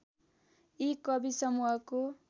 यी कवि समूहको